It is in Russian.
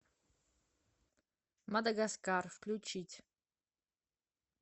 мадагаскар включить